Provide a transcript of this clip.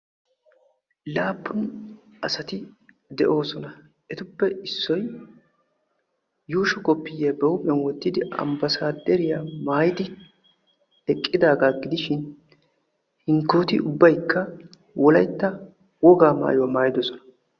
Laappun asati de'oosona. etuppe issoy yuushsho kopiyiyaa ba huuphphiyaan wottidi ambbaasaderiyaa maayidi eqqidaagaa gidishin hinkkoti ubbaykka wolaytta wogaa maayuwaa maayidosona.